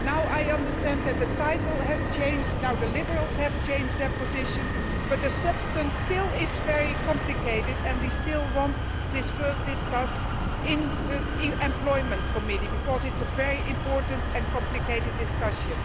I understand that the title has changed and that the Liberals have changed their position, but the substance is still very complicated and we still want this to be discussed first in the Committee on Employment, because it is a very important and complicated discussion.